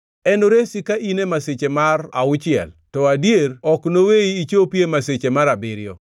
Enoresi ka in e masiche mar auchiel; to adier, ok enoweyi ichopi e masiche mar abiriyo.